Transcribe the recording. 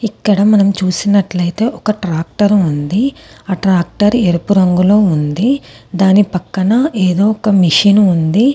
ఇక్కడ మనం చూసినట్లయితే ఒక ట్రాక్టర్ ఉంది. ఆ ట్రాక్టర్ ఎరుపు రంగులో ఉంది. దాని పక్కన ఏదో ఒక మిషను ఉంది.